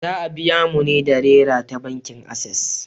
Za a biya mu ne da Nera ta bankin Ases.